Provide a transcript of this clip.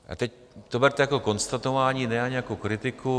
A teď to berte jako konstatování, ne ani jako kritiku.